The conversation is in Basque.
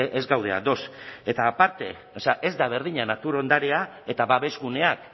ez gaude ados eta aparte o sea ez da berdina natur ondarea eta babesguneak